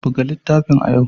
Buga littafin a yau!